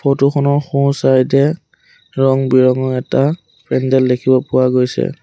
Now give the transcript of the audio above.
ফটোখনৰ সোঁ চাইড এ ৰং বিৰঙৰ এটা পেণ্ডেল দেখিব পোৱা গৈছে।